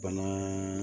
Bana